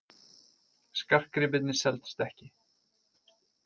Skartgripirnir seldust ekki